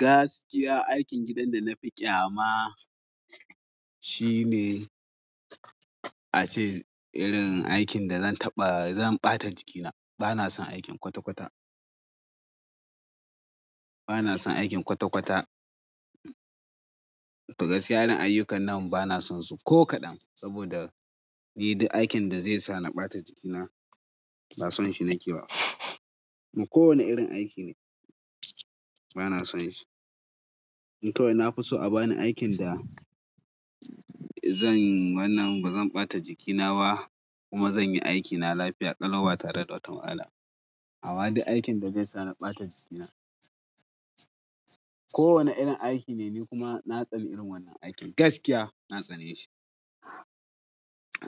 Gaskiya aikin gidan da na fi ƙyama shine, ace irin aikin da zan taɓa zan ɓata jikina. Bana son aikin kwata kwata. Bana son aikin kwata kwata. Gaskiya irin ayyukan nan bana son su ko kaɗan saboda ni duk aikin da zai sa na ɓata jikina ba son shi na ke ba. Kuma ko wane irin aiki ne bana son shi. In kawai na fi so a bani aikin da zan, wannan ba zan ɓata jiki na ba kuma zan yi aikina lafiya ƙalau ba tare da wata matsala. Amma duk aikin da zai sa na ɓata jikina ko wanne irin aiki ne ni kuma na tsani irin wannan aikin gaskiya na tsane shi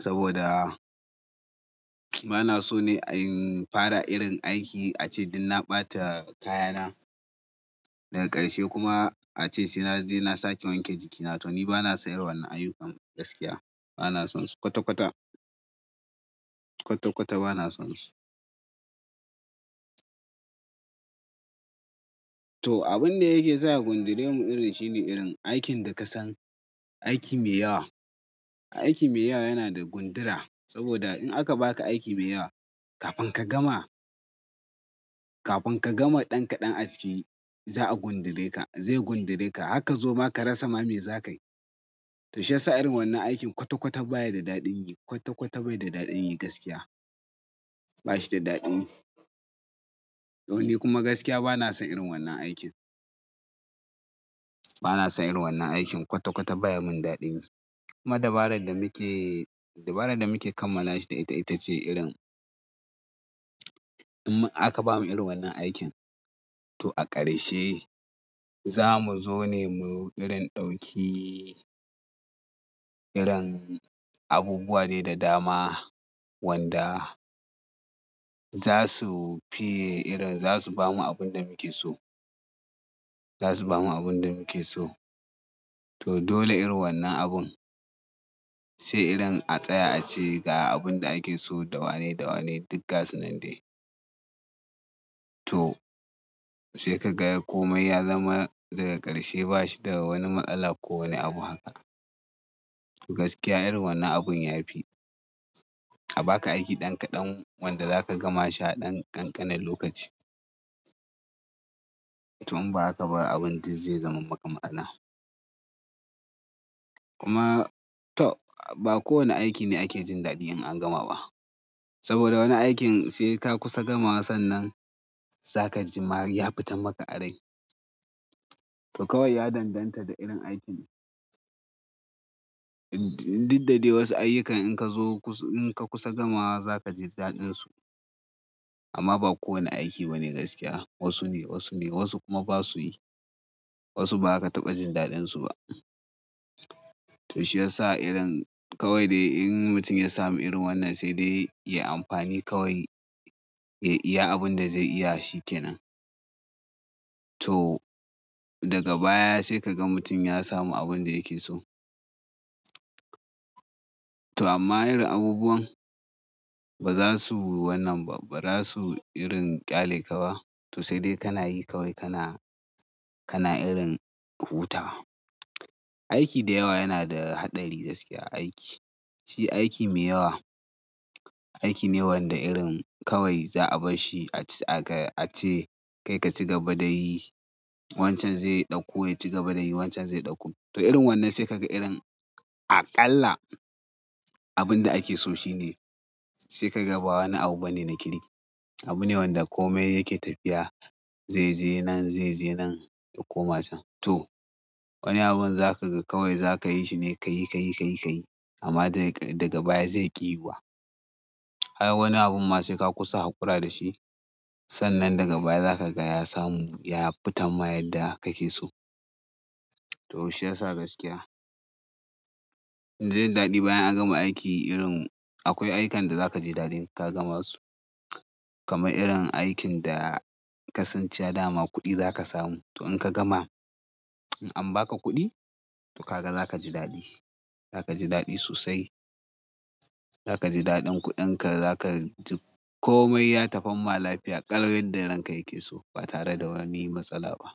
saboda bana so ne in fara irin aiki ace dun na ɓata kaya na daga ƙarshe kuma ace sai naje na sake wanke jiki na to ni bana san irin wannan ayyukan gaskiya. Bana son su kwata kwata, kwata kwata bana son su. To, abun da yake sa ya gundure mu irin shine irin aikin da ka san aiki mai yawa. Aiki mai yawa yana da gundura saboda in aka baka aiki mai yawa kafin ka gama, kafin ka gama ɗan kaɗan a ciki za'a gundure ka, zai gundure ka. Harka zoma ma ka rasa ma me za ka yi. To shiyasa irin wannan aikin kwata kwata baya da daɗin yi, kwata kwata bai da daɗin yi gaskiya. Ba shi da daɗi. To ni kuma gaskiya bana son irin wannan aikin. Bana son irin wannan aikin kwata kwata baya mun daɗi. Kuma dabaran da muke, dabaran da muke kammala shi ita ita ce irin, in aka bamu irin wannan aikin to a ƙarshe za mu zo ne mu yi irin ɗauki, irin abubuwa ne da dama wanda za su fi irin za su bamu abun da muke so. Za su bamu abun da muke so. To dole irin wannan abun, sai irin a tsaya a ci ga abun da ake so dawane dawane duk gasu nan dai. To sai ka ga komai ya zama daga ƙarshe ba shi da wani matsala ko wani abu haka. To gaskiya irin wannan abun ya fi. A baka aiki ɗan kaɗan wanda za ka gama shi a ɗan ƙanƙanin lokaci. To in ba aka ba abin duz zai zama maka matsala. Kuma to ba kowane aiki ne ake jin daɗi in an gama ba. Saboda wani aikin sai ka kusa gamawa sannan za ka ji ma ya fita maka a rai. To kawai ya danganta da irin aikin diddade wasu ayyukan in ka zo kusa, in ka kusa gamawa za ka ji daɗin su amma ba kowane aiki ba ne gaskiya. Wasu ne, wasu ne wasu kuma ba su yi. Wasu ba ka taɓa jin daɗin su ba. To shiyasa irin kawai dai in mutum ya samu irin wannan sai dai yayi amfani kawai ya iya abin da zai iya shi kenan. To daga baya sai ka ga mutum ya samu abin da yake so. To amma irin abubuwan ba za su yi wannan ba, ba za su yi irin ƙyale ka ba. To sai dai kana yi kawai kana, kana irin hutawa. Aiki da yawa yana da haɗari gaskiya aiki. Shi aiki mai yawa, aiki ne wanda irin kawai za a bar shi a ci aka a ce kai ka ci gaba da yi wancan zai ɗauku, ya ci gaba da yi wancan zai ɗauku. To irin wannan sai ka ga irin aƙalla abun da ake so shi ne sai ka ga ba wani abu bane na kiri. Abu ne wanda komai yake tafiya zai je nan, zai je nan ya koma can. To wani abun za ka ga kawai za ka yi shi ne ka yi, ka yi, ka yi, ka yi amma dai daga baya zaiƙi yi wa. Ai wani abun ma sai ka kusa haƙura da shi sannan daga baya za ka ga ya samu ya fita ma yadda ka ke so. To shiyasa gaskiya. Jin daɗi bayan an gama aiki irin akwai ayyukan da za ka ji daɗin ka gama su. Kaman irin aikin da ka san cewa dama kuɗi za ka samu. To in ka gama, in an baka kuɗi to ka ga za ka ji daɗi. Za ka ji daɗi sosai. Za ka ji daɗin kuɗin ka, za ka ji komai ya tafi ma lafiya ƙalau yanda ranka yake so ba tare da wani matsala ba.